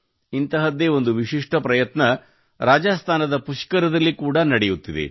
ಇಂತಹದ್ದೇ ಒಂದು ವಿಶಿಷ್ಠ ಪ್ರಯತ್ನ ರಾಜಸ್ತಾನದ ಪುಷ್ಕರದಲ್ಲಿ ಕೂಡಾ ನಡೆಯುತ್ತಿದೆ